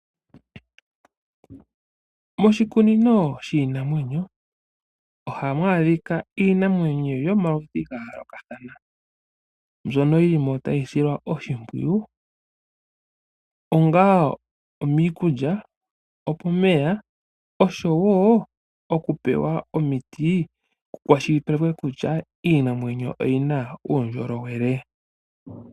Moshikunino shiinanwenyo oha mu adhika iinamwenyo yomaludhi ga yoolokathana. mbyono yi li mo ta yi silwa oshimpwiyu, onga miikulya, okomeya oshowo okupewa omiti ku kwashilipaleke kutya iinamwenyo oyi na uundjolowele.